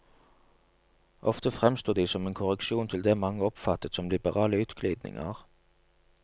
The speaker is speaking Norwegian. Ofte fremsto de som en korreksjon til det mange oppfattet som liberale utglidninger.